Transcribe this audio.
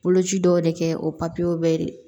Boloci dɔw de kɛ o bɛɛ